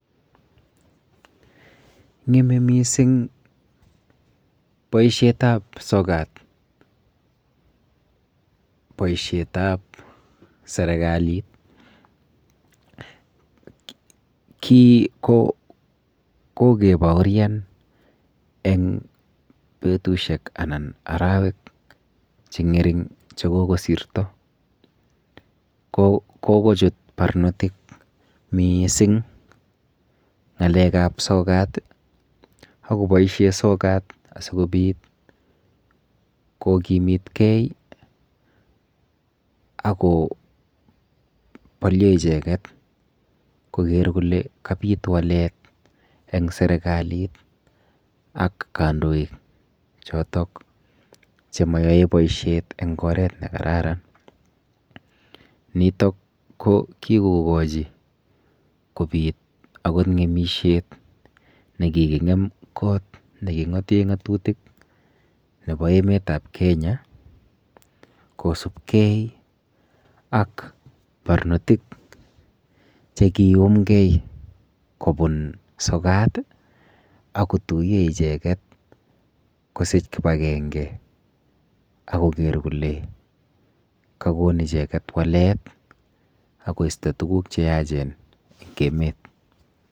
Ng'eme mising boishet ap sokat boishet ap serikalit kii ko kokebaurian eng betushek anan arawek chengering chekokosirto kokochut barnotik miising ng'alek ap sokat akoboishe sokat asikopit kokimitkei ako bolio icheket koker kole kabit walet eng serikalit ak kandoik chotok chemayoe boishet eng oret kararan nitok ko kikokochi kobit akot ngemishet nekikingem koot neki ngote ngatutik nebo emet ap Kenya kosupkei ak barnotik chekiyumkei kobun sokat akotuyo icheket kosich kibakenge akoker kole kakon icheket walet akoisto tukuk cheyachen eng emet.